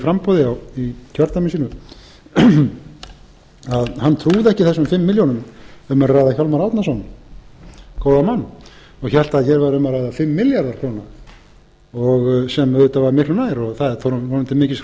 framboði í kjördæmi sínu að hann trúði ekki þessum fimm milljónir um er að ræða hjálmar árnason góðan mann og hélt að hér væri um að ræða fimm milljarða króna sem auðvitað var miklu nær það er honum til mikils